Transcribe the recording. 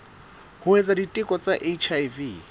ho etsa diteko tsa hiv